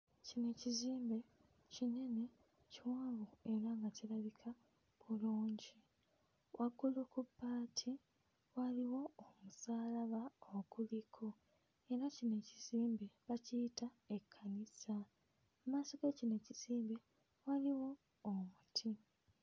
Kino kizimbe kinene kiwanvu era kirabika bulungi. Waggulu ku bbaati waliwo omusaalaba oguliko era kino ekizimbe bakiyita ekkanisa mmaaso ga kino ekizimbe waliwo omuti.